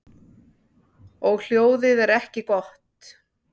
Og hljóðið er ekki gott.